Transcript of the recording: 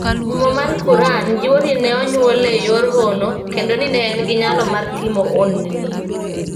Muma mar Quran jiwo ni ne onyuole e yor hono kendo ni ne en gi nyalo mar timo honni.